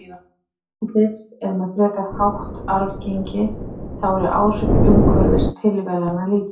Lögun andlits er með frekar hátt arfgengi, þá eru áhrif umhverfis og tilviljana lítil.